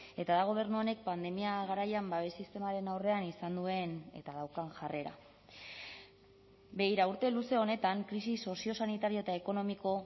eta da gobernu honek pandemia garaian babes sistemaren aurrean izan duen eta daukan jarrera begira urte luze honetan krisi soziosanitario eta ekonomiko